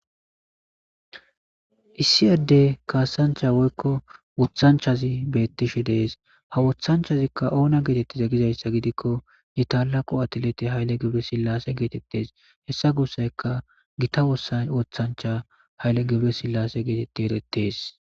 issi adde kaasancha woykko wothanchazi beettishe dees ha wothanchazikka oona geetettize gizayssa gidikko itala qo atileti hayle geble sillase geetettes hessa gossayka gita wossan wothancha hayle gebre sillase geetetti erettees